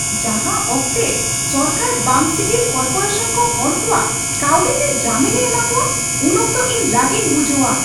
ᱡᱟᱦᱟᱸ ᱚᱠᱛᱮ ᱥᱚᱨᱠᱟᱨ ᱵᱟᱝ ᱥᱤᱜᱤᱞ ᱠᱚᱨᱯᱳᱨᱮᱥᱚᱱ ᱠᱚ ᱦᱚᱲ ᱠᱚᱣᱟᱜ ᱠᱟᱹᱣᱰᱤ ᱛᱮ ᱡᱟᱹᱢᱤᱱᱮ ᱮᱢᱟ ᱠᱚᱣᱟ, ᱩᱱ ᱚᱠᱛᱚ ᱤᱧᱨᱟᱹᱜᱤᱧ ᱵᱩᱡᱷᱟᱹᱣᱟ ᱾